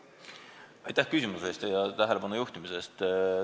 Aitäh küsimuse eest ja tähelepanu juhtimise eest!